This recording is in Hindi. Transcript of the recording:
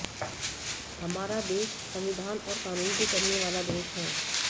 हमारा देश संविधान और कानून से चलने वाला देश है